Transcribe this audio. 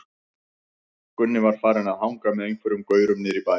Gunni var farinn að hanga með einhverjum gaurum niðri í bæ.